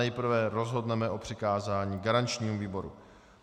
Nejprve rozhodneme o přikázání garančnímu výboru.